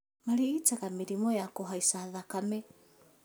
Marigitaga mĩrimũ ta kũhaica thakame